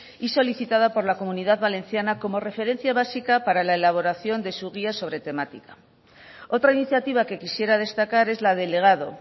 y solicitada por la comunidad valenciana como referencia básica para la elaboración de su guía sobre temática otra iniciativa que quisiera destacar es la del legado